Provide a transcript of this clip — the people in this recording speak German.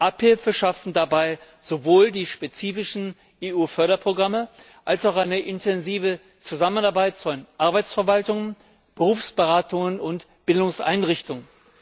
Abhilfe schaffen dabei sowohl die spezifischen EU Förderprogramme als auch eine intensive Zusammenarbeit von Arbeitsverwaltungen, Berufsberatungen und Bildungseinrichtungen.